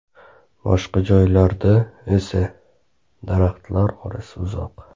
Boshqa joylarda esa, daraxtlar orasi uzoq.